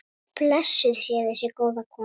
Blessuð sé þessi góða kona.